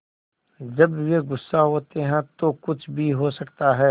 जब वे गुस्सा होते हैं तो कुछ भी हो सकता है